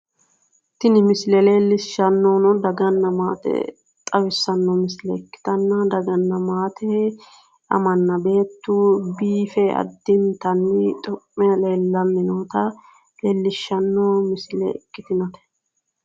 Tini misile leellishshanohuno daganna maate xawissanno misile ikkitanna daganna maate amanna beettu biife addintanni xu'me leellannota leellishshano misile ikkitinote.